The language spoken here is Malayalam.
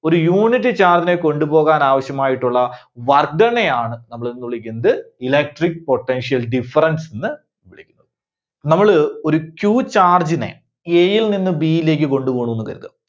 ഒരു unit charge നെ കൊണ്ടുപോകാൻ ആവശ്യമായിട്ടുള്ള work done നെയാണ് നമ്മള് എന്തെന്ന് വിളിക്കുന്നത് electric potential difference ന്ന് വിളിക്കുന്നത്. നമ്മള് ഒരു Q charge നെ A യിൽ നിന്ന് B യിലേക്ക് കൊണ്ടുപോണൂന്ന് കരുതുക.